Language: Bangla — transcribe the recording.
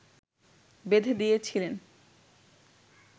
বেঁধে দিয়েছিলেন